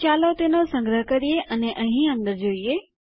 તો ચાલો તેનો સંગ્રહ કરીએ અને અહીં અંદર જોઈએ